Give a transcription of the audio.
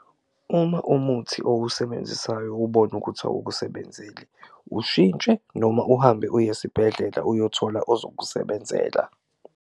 Uma umuthi owusebenzisayo ubona ukuthi awukusebenzeli ushintshe noma uhambe uye esibhedlela uyothola ozokusebenzela.